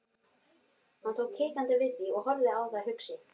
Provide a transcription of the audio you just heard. Hann tók hikandi við því og horfði á það hugsi.